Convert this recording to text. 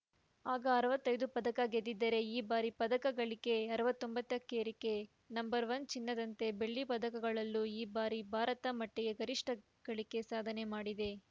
ಆಗ ಅರವತ್ತೈದು ಪದಕ ಗೆದ್ದಿದ್ದರೆ ಈ ಬಾರಿ ಪದಕ ಗಳಿಕೆ ಅರವತ್ತೊಂಬತ್ತಕ್ಕೇರಿಕೆ ನಂಬರ್ ಒನ್ ಚಿನ್ನದಂತೆ ಬೆಳ್ಳಿ ಪದಕಗಳಲ್ಲೂ ಈ ಬಾರಿ ಭಾರತ ಮಟ್ಟಿಗೆ ಗರಿಷ್ಠ ಗಳಿಕೆ ಸಾಧನೆ ಮಾಡಿದೆ